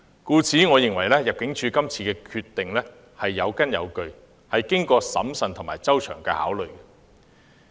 故此，我認為入境處今次的決定是有根有據，是經過審慎和周詳考慮。